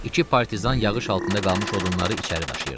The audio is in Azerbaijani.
İki partizan yağış altında qalmış odunları içəri daşıyırdı.